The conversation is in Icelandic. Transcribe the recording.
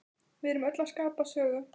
Við erum öll að skapa sögu.